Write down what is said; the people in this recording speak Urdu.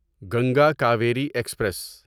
گنگا کاویری ایکسپریس